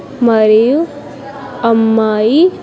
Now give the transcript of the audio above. మరియు అమ్మాయి.